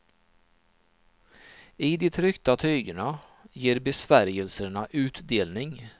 I de tryckta tygerna ger besvärjelserna utdelning.